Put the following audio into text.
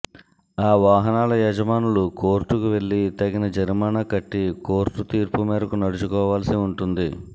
ఆ వాహనాల యజమానులు కోర్టుకు వెళ్ళి తగిన జరిమానా కట్టి కోర్టు తీర్పు మేరకు నడుచుకోవాల్సి ఉంటుంది